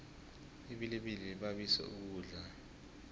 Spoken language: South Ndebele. ibilibili libabiso ukudla